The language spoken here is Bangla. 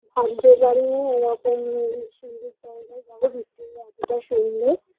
ভাবতে পারিনি এরকম সুন্দর জায়গায় যাব ভিক্টোরিয়া এতোটা সুন্দর